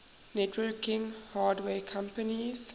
networking hardware companies